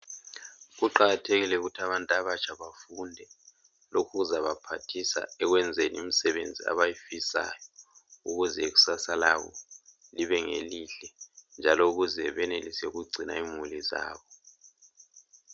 Kuqakathekile ukuthi abantu abatsha befunde lokhu kuzobaphathisa ekwenzeni imisebenzi abayifisayo ukuze ikusasa labo libengelihle njalo ukuze benelise ukugcina imuli zabo.